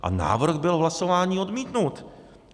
A návrh byl v hlasování odmítnut.